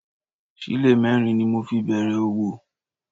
Sílè mẹ́rin ni mo fi bẹ̀rẹ̀ òwò